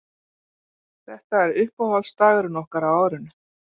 Þetta er uppáhaldsdagurinn okkar á árinu